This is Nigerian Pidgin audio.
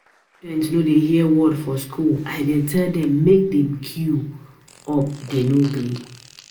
Students no dey hear word for school. I tell dem make dey queue um up dey no gree